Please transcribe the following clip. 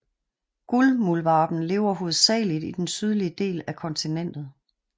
Guldmuldvarpen lever hovedsageligt i den sydlige del af kontinentet